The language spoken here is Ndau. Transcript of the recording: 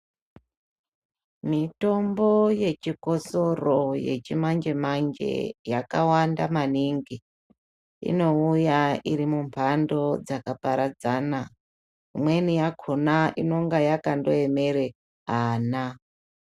Mitombo yechikosoro yechimanje manje yakawanda maningi inouya iri mumbando dzakaparadzana imweni yakona inenge yakaemera ana.